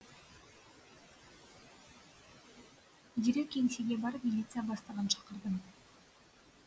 дереу кеңсеге барып милиция бастығын шақырдым